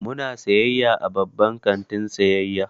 Muna sayayya a babban kantin sayayya.